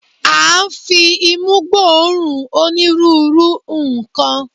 A ń fi imú gbóòórùn onírúurú nǹkan.